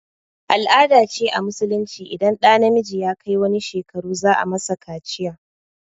Al-ada ce a musulunci idan ɗa namiji ya kai wani shekaru za a masa kaciya